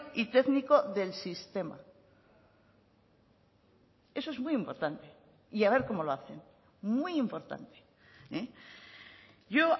y técnico del sistema eso es muy importante y a ver cómo lo hacen muy importante yo